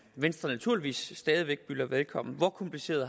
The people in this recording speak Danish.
venstre naturligvis stadig væk byder velkommen hvor kompliceret